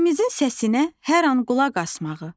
Qəlbimizin səsinə hər an qulaq asmağı.